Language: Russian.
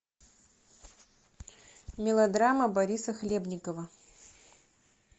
мелодрама бориса хлебникова